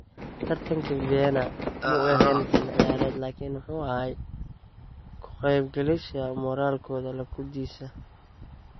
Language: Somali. Taratanki Viena muu ehen xili ciyared lakin wuxu axay kuu kaqebgalyasha moralkodha lakudisi.